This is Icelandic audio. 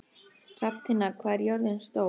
Já, eða þá Ögn, það er svo vinsælt nafn núna.